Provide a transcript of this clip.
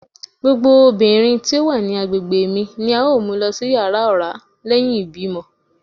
Gbogbo obinrin ti o wa ni agbegbe mi ni ao mu lọ si yara ọra lẹhin ibimọ